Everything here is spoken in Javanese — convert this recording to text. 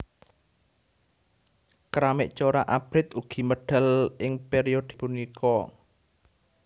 Keramik corak abrit ugi medal ing periode punika